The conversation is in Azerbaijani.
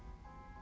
Əldir.